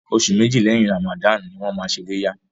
Oṣù méjì lẹ́yìn Ramadan ni wọ́n máa ṣe iléyá.